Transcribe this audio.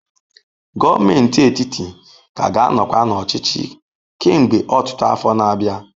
Gọọmenti etiti ka ga-anọkwa n'ọchịchị kemgbe ọtụtụ afọ na-abịa.